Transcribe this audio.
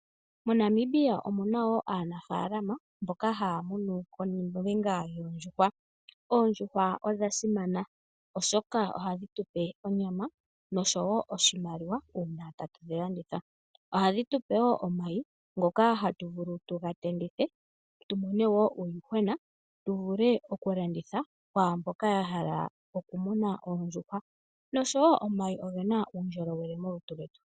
MoNamibia omuna woo aanafalama mboka haamunu oondjuhwa. Oondjuhwa odhasimana oshoka ohadhi tupe onyama nosho woo oshimaliwa uuna tatu dhilandithapo. Ohadhi tupe woo omayi ngoka haga tendwa tumone woo uuyuhwena tu vule okulanditha kwaamboka ya hala okumuna oondjuhwa. Omayi ogena woo uundjolowele molutu lwomuntu .